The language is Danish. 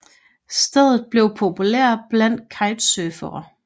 Stedet er blevet populært blandt kitesurfere